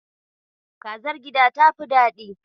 Kazar gida ta fi daɗi.